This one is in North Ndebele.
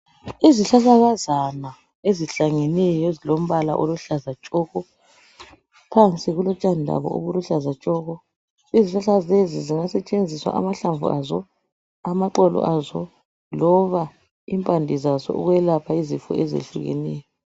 Izihlahlakazana ezihlangeneyo ezilombala oluhlaza tshoko ziyasetshenziswa ukwelapha, kusebenza amahlamnvu loba impande zawo.